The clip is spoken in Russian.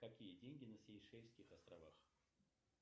какие деньги на сейшельских островах